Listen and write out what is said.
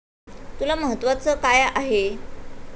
तुला महत्त्वाचं काय आहे?